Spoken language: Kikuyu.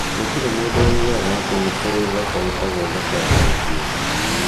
"Gũtirĩ mũndũ woigaga atĩ nĩ kũrĩ thoko ĩtagwo thoko ya mũciĩ.